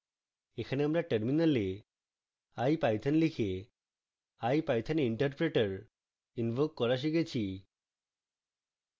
এখানে আমরা টার্মিনালে ipython লিখে ipython interpreter ইনভোক করা শিখেছি